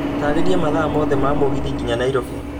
taarĩria mathaa mothe ma mũgithi nginya nairobi